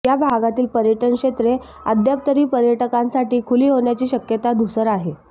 या भागातील पर्यटन क्षेत्रे अद्याप तरी पर्यटकांसाठी खुली होण्याची शक्यता धुसर आहे